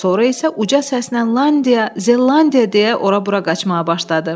Sonra isə uca səslə Landia, Zelandia deyə ora-bura qaçmağa başladı.